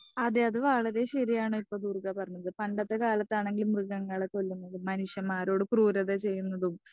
speaker 2 അതെ അത് വളരെ ശരിയാണ് ട്ടോ ദുർഗ പറഞ്ഞത് പണ്ടത്തെ കാലത്താണെകിൽ മൃഗങ്ങളെ കൊല്ലുന്നതും മനുഷ്യമാരോടും ക്രൂരത ചെയ്യുന്നതും